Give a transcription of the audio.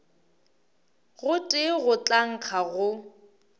gotee go tla nkga go